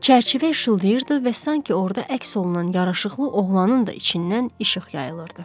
Çərçivə işıldayırdı və sanki orda əks olunan yaraşıqlı oğlanın da içindən işıq yayılırdı.